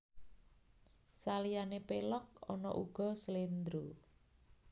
Saliyane Pelog ana uga Slendra